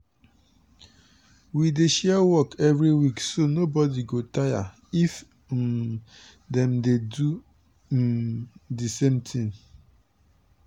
we dey share work every week so nobodi go tire if um dem dey do um di same thing.